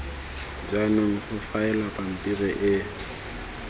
jaanong go faelwa pampiri e